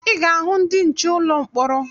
Ị ga-ahụ ndị nche n'ụlọ mkpọrọ